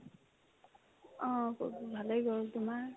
অ, পৰীক্ষা ভালে গ'ল ; তোমাৰ ?